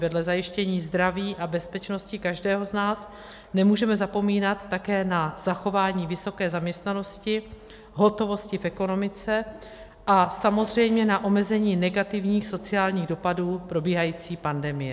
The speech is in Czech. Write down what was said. Vedle zajištění zdraví a bezpečnosti každého z nás nemůžeme zapomínat také na zachování vysoké zaměstnanosti, hotovosti v ekonomice a samozřejmě na omezení negativních sociálních dopadů probíhající pandemie.